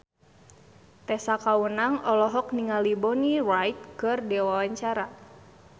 Tessa Kaunang olohok ningali Bonnie Wright keur diwawancara